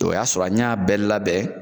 O y'a sɔrɔ an y'a bɛɛ labɛn